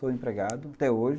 Sou empregado até hoje.